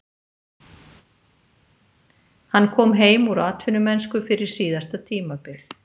Hann kom heim úr atvinnumennsku fyrir síðasta tímabil.